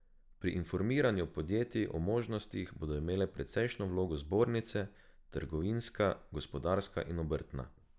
Pri informiranju podjetij o možnostih bodo imele precejšnjo vlogo zbornice, trgovinska, gospodarska in obrtna.